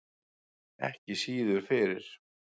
Ekki síður fyrir